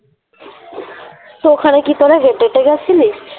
তো ওখানে কি তোরা হেঁটে হেঁটে গেছিলি?